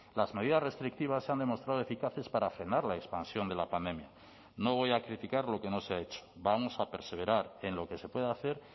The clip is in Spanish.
las medidas restrictivas se han demostrado eficaces para frenar la expansión de la pandemia no voy a criticar lo que no se ha hecho vamos a perseverar en lo que se puede hacer